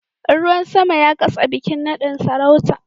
Ruwan sama ya katse bikin nadin sarauta